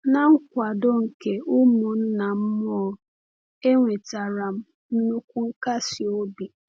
Na nkwado nke ụmụnna m mmụọ, enwetara m nnukwu nkasi obi.